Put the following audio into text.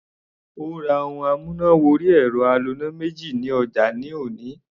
Mo ra ohun amúnà wọrí ẹ̀rọ aloná méjì ní ọjà ní òní.